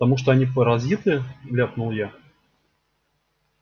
потому что они паразиты ляпнул я